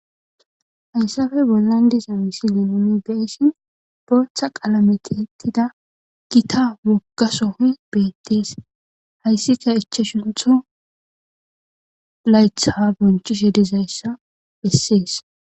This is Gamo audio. Hayisappe bollan dizayisa be,ishin botha qalamen tiyetida githa woga sohoyi betees hayisika ichashantho layitha bonchishe dizayisa besees